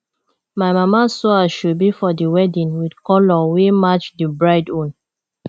my mama sew asoebi for di wedding wit colour wey match di bride own